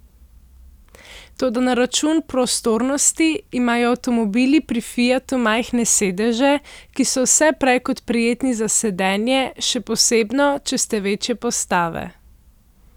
Toda na račun prostornosti imajo avtomobili pri Fiatu majhne sedeže, ki so vse prej kot prijetni za sedenje, še posebno, če ste večje postave.